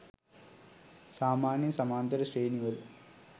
සාමාන්‍යයෙන් සමාන්තර ශ්‍රේණි වල